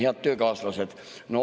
Head töökaaslased!